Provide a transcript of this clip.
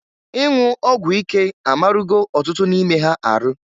Inwu ọgwụ ike amarụgo ọtụtụ n'ime ha arụ.